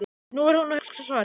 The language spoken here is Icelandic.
Nú er hún að hugsa svarið.